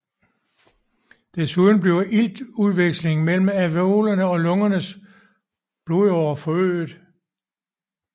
Desuden bliver iltudvekslingen mellem alveoler og lungernes blodårer forøget